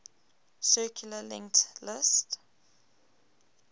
circularly linked list